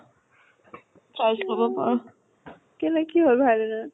চাইছো ৰবা, কেনেকে হয় ভাইলিনা?